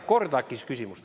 Korda äkki küsimust.